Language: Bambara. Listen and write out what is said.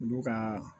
Olu ka